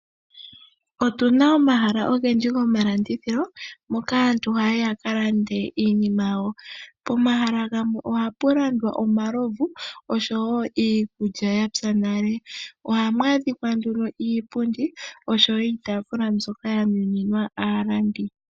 Otuna omahala ogendji gomalandithilo moka aantu hayayi yaka lande iinima yawo, pomahala gamwe ohapu landwa omalovu nosho wo iikulya yapya nale, ohamu adhike nduno iipundi nosho wo iitafula mbyoka ya nuniwa aalandi.